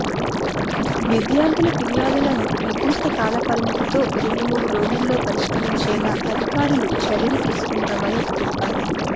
విద్యార్థుల ఫిర్యాదులను నిర్ధిష్ట కాలపరిమితితో రెండు మూడు రోజుల్లో పరిష్కారించేలా అధికారులు చర్యలు తీసుకుంటున్నామని తెలిపారు